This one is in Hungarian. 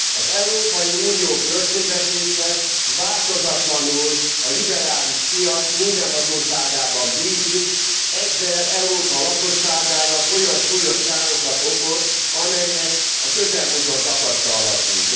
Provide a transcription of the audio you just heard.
Az Európai Unió költségvetése változatlanul a liberális piac mindenhatóságában bízik, ezzel Európa lakosságának olyan súlyos károkat okoz, amelyeket a közelmúltban tapasztalhattunk.